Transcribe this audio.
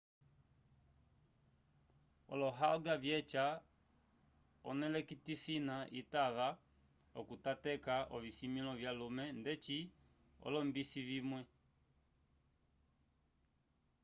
olohalga vyeca onewlotokisina itava okutateka ovisimĩlo vyalume ndeci olombisi vimwe